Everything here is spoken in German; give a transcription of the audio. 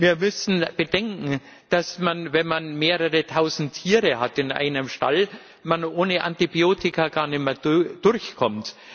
Wir müssen bedenken, dass man, wenn man mehrere tausend Tiere in einem Stall hat, ohne Antibiotika gar nicht mehr durchkommt.